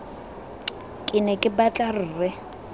ke ne ke batla rre